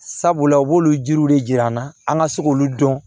Sabula u b'olu jiriw de jira an na an ka se k'olu dɔn